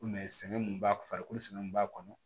sɛgɛn mun b'a farikolo sɛnɛ mun b'a kɔnɔ